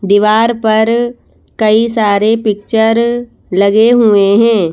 दीवार पर कई सारे पिक्चर लगे हुए हैं।